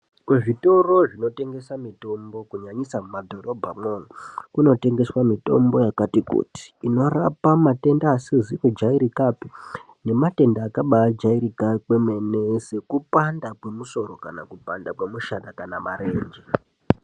Kuzvitoro zvinotengese mitombo kunyanyisa mumadhorobha mwo umwo kunotengeswe mitombo yakati kuti inorapa, matenda asizi kujairikapi nematenda akaba jairika kwemene sekupanda kwemusoro kana kupanda mishana kana marenje